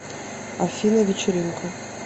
афина вечеринка